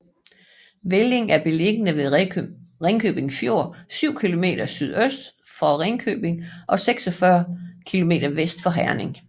Velling er beliggende ved Ringkøbing Fjord syv kilometer sydøst for Ringkøbing og 46 kilometer vest for Herning